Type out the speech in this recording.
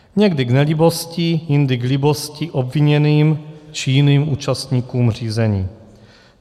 Někdy k nelibosti, jindy k libosti obviněným či jiným účastníkům řízení.